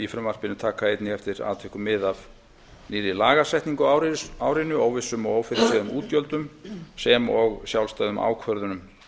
frumvarpinu taka einnig eftir atvikum mið af nýrri lagasetningu á árinu óvissum og ófyrirséðum útgjöldum sem og sjálfstæðum ákvörðunum